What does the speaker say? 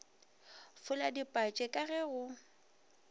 fola dipatše ka ge go